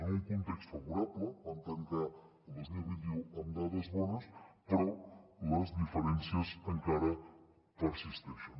en un context favorable vam tancar el dos mil vint u amb dades bones però les diferències encara persisteixen